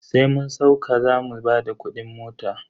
Sai mun sauka zamu bada kudin mota.